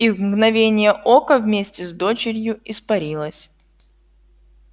и в мгновение ока вместе с дочерью испарилась